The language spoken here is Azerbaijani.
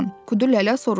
Kudulələ soruşdu.